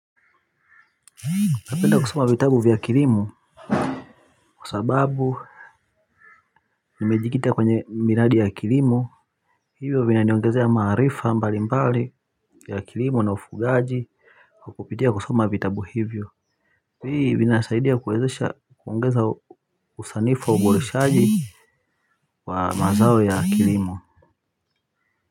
Napenda kusoma vitabu vya kilimo kwa sababu nimejikita kwenye miradi ya kilimo hivyo vinaniongezea maarifa mbali mbali ya kilimo na ufugaji kwa kupitia kusoma vitabu hivyo hii vinasaidia kuwezesha kuongeza usanifu au uboreshaji wa mazao ya kilimo.